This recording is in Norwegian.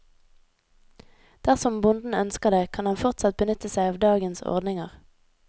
Dersom bonden ønsker det, kan han fortsatt benytte seg av dagens ordninger.